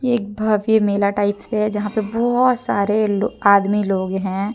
एक भव्य मेला टाइप से है जहां पर बहोत सारे आदमी लोग हैं।